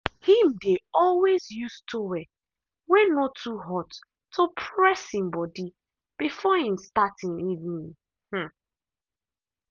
him dey always use towel way no too hot to press him body before him start em evening. um